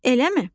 Eləmi?